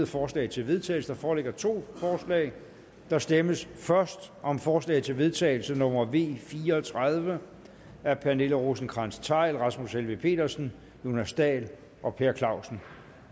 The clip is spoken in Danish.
forslag til vedtagelse der foreligger to forslag der stemmes først om forslag til vedtagelse nummer v fire og tredive af pernille rosenkrantz theil rasmus helveg petersen jonas dahl og per clausen